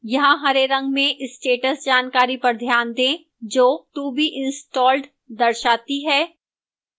यहाँ हरे रंग में status जानकारी पर ध्यान दें जो to be installed दर्शाती है